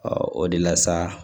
o de la sa